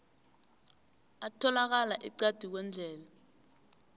atholakala eqadi kwendlela